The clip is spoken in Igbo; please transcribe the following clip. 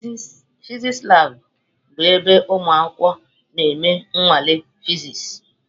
Fịsịsị labụ bụ ebe ụmụ akwụkwọ na-eme nnwale Fịsịsị.